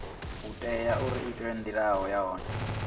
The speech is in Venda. u itwa uri ndaela ya